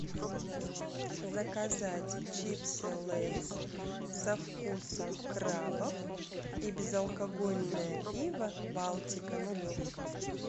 заказать чипсы лейс со вкусом крабов и безалкогольное пиво балтика нулевка